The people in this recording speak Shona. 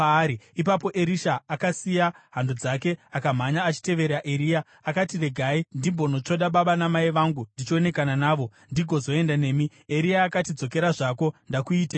Ipapo Erisha akasiya hando dzake akamhanya achitevera Eria. Akati, “Regai ndimbonotsvoda baba namai vangu ndichionekana navo, ndigozoenda nemi.” Eria akati, “Dzokera zvako. Ndakuiteiko?”